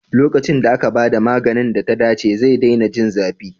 Lokacin da aka ba da maganin da ta dace, zai daina jin zafi.